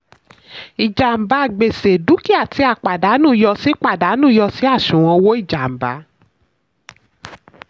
ìjàmbá/gbèsè: dúkìá tí a pàdánù yọ sí pàdánù yọ sí àṣùwọ̀n owó ìjàmbá.